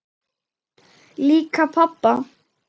Lík pabba?